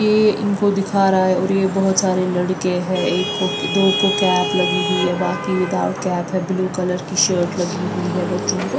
ये इनको दिखा रहा है और ये बहुत सारे लड़के हैं एक कोप के दो को कैप लगी हुई है बाकी विदाउट कैप है ब्लू कलर की शर्ट लगी हुई है बच्चों को--